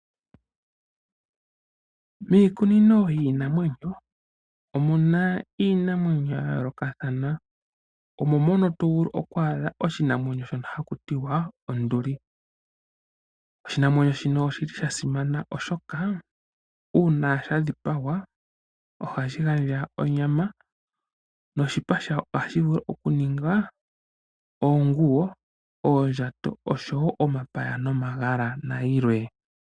Miikunino yiinamwenyo omuna iinamwenyo yayolokathana ngaashi onduli. Onduli oya simana noonkondo oshoka ngele yadhipagwa aantu ohaya monoko onyama nosho woo oshipa shono hashi ndulukwa oonguwo, oondjato, omapaya nosho woo omagala nayilwe.